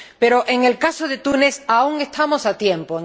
Pero en el caso de Túnez aún estamos a tiempo.